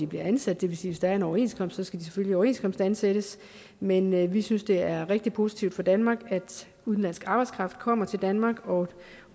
bliver ansat det vil sige der er en overenskomst så skal man selvfølgelig overenskomstansættes men vi synes det er rigtig positivt for danmark at udenlandsk arbejdskraft kommer til danmark og